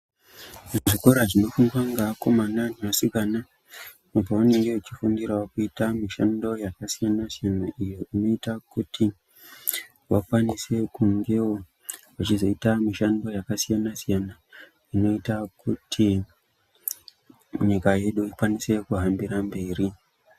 Zvikora zvinofundwa ngeakomana neasikana, apo vanenge vechifundirawo kuita mishando yakasiyana-siyana, iyo inoita kuti, vakwanise kungewo vechizoita mishando yakasiyana-siyana, inoita kuti, nyika yedu ikwanise kuhambira mberi.